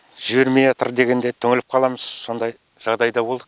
жібермеатыр дегенде түңіліп қаламыз сондай жағдайда болдық